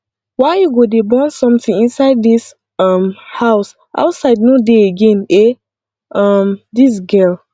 why you go dey burn something inside dis um house outside no dey again eh um dis girl